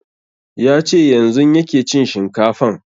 Ya ce yanzun yake cin shinkafan